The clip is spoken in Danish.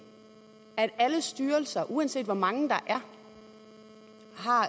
at alle styrelser uanset hvor mange der er